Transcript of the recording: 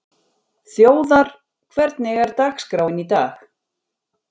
Þjóðar, hvernig er dagskráin í dag?